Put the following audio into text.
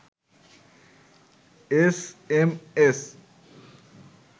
S M S